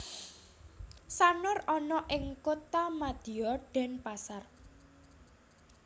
Sanur ana ing Kotamadya Denpasar